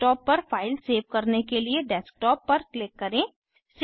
desktop पर file save करने के लिए डेस्कटॉप पर क्लिक करें